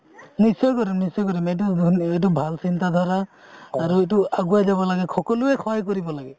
নিশ্চয় কৰিম নিশ্চয় কৰিম এইটো এইটো ভাল চিন্তা ধাৰা আৰু এইটো আগোৱাই যাব লাগে সকলোৱে সহায় কৰিব লাগে